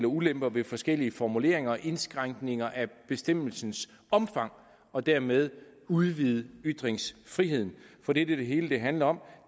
ulemper ved forskellige formuleringer og indskrænkninger af bestemmelsens omfang og dermed udvide ytringsfriheden for det det hele handler om